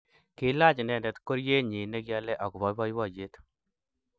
Kilaach inendet koryenyi negiole agoba boiboiyet